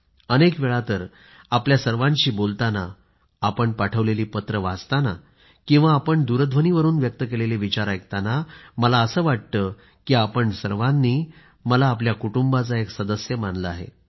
अनेकवेळा तर आपल्या सर्वांशी बोलताना आपण पाठवलेली पत्रं वाचताना किंवा आपण दूरध्वनीवरून व्यक्त केलेले विचार ऐकताना मला असं वाटतं की आपण सर्वांनी मला आपल्या कुटुंबाचा एक सदस्य मानलं आहे